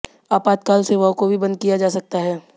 आपातकाल सेवाओं को भी बंद किया जा सकता है